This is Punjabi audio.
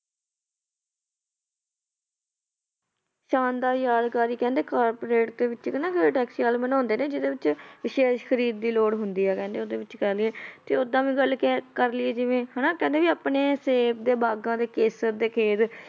ਸ਼ਾਨਦਾਰ ਯਾਦਗਾਰੀ ਕਹਿੰਦੇ corporate ਦੇ ਵਿੱਚ ਨਾ ਇੱਕ taxi ਵਾਲੇ ਬਣਾਉਂਦੇ ਨੇ ਜਿਹਦੇ ਵਿੱਚ ਵਿਸ਼ੇਸ਼ ਖ਼ਰੀਦ ਦੀ ਲੋੜ ਹੁੰਦੀ ਹੈ ਕਹਿੰਦੇ ਉਹਦੇ ਵਿੱਚ ਕਹਿੰਦੇ ਤੇ ਓਦਾਂ ਵੀ ਗੱਲ ਕਹਿ ਕਰ ਲਈਏ ਜਿਵੇਂ ਹਨਾ ਕਹਿੰਦੇ ਵੀ ਆਪਣੇ ਸੇਬ ਦੇ ਬਾਗ਼ਾਂ ਤੇ ਕੇਸਰ ਦੇ ਖੇਤ